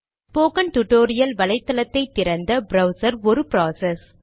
spoken tutorial வலைத்தளத்தை திறந்த browser ஒரு ப்ராசஸ்